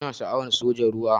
Ina sha'awan sojan ruwa.